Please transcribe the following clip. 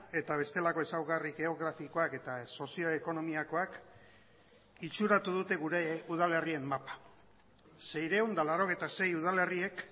eta bestelako ezaugarri geografikoak eta sozio ekonomikoak itxuratu dute gure udalerrien mapa seiehun eta laurogeita sei udalerriek